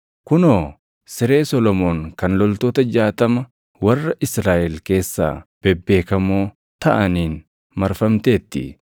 Kunoo! Siree Solomoon kan loltoota jaatama warra Israaʼel keessaa bebeekamoo taʼaniin marfamteerti.